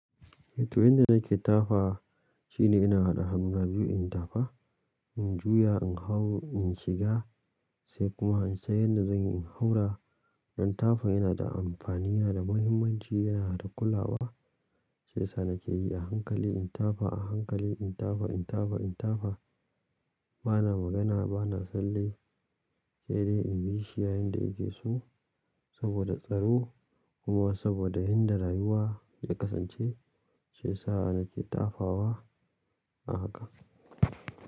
Eh to, yanda nake tafa shine ina haɗa hannuna biyu in tafa, in juya, in hau, in shiga sai kuma in san yadda zan in haura. Dan tafa yana da amfani, yana da muhimmanci, yana da ƙula wa. Shiyasa nake yi a hankali in tafa, a hankali in tafa, in tafa, in tafa. Bana magana, bana tsalle, sai dai in bi shi yayinda yake so saboda tsaro kuma saboda inda rayuwa ya kasance. Shiyasa nake tafawa a haka.